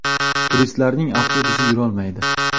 Turistlarning avtobusi yurolmaydi.